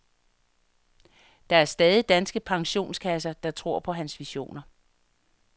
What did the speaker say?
Der er stadig danske pensionskasser, der tror på hans visioner.